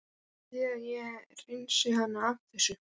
Viljið þið að ég hreinsið hana af þessu?